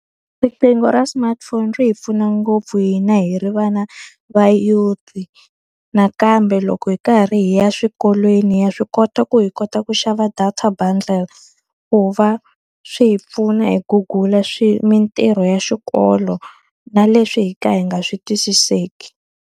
Riqingho ra smartphone ri hi pfuna ngopfu hina hi ri vana va youth-i. Nakambe loko hi karhi hi ya swikolweni ha swi kota ku hi kota ku xava data bundle, ku va swi hi pfuna hi Google-a mintirho ya xikolo na leswi hi ka hi nga swi twisiseki.